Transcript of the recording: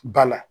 Ba la